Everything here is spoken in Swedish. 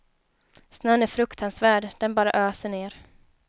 Snön är fruktansvärd, den bara öser ned.